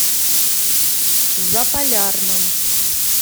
заполярном